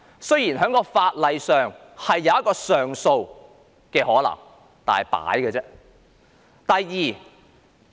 雖然在法律上設有上訴機制，但只是形同虛設。